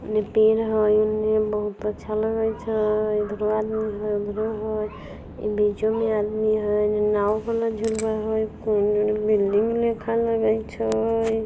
एन्ने पेड़ हई एन्ने बहुत अच्छा लगत हई एधरो आदमी हई उधरो हई अ बीचो में आदमी हई एन्ने नाव वाला झूला हई कएगो न बिल्डिंग नियर छए।